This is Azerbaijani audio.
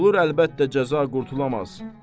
Qulur əlbəttə cəza qurtula bilməz.